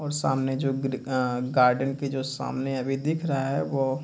और सामने जो ग्री आ गार्डन के जो सामने अभी दिख रहा है वो --